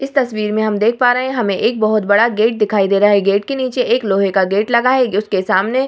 इस तस्वीर में हम देख पा रहे है हमें एक बहुत बड़ा गेट दिखाई दे रहा है गेट के नीचे एक लोहे का गेट लगा हुआ है गेट के सामने --